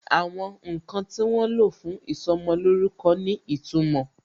Àwọn ǹkan tí wọ́n lo fún ìsọmolórúkọ ní ìtumò